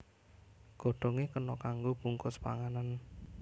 Godhongé kena kanggo bungkus panganan